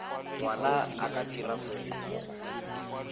ngwana a ka dira kopo